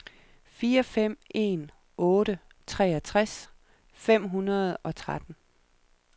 fire fem en otte treogtres fem hundrede og tretten